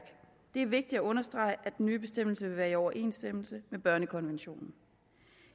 det er vigtigt at understrege at den nye bestemmelse vil være i overensstemmelse med børnekonventionen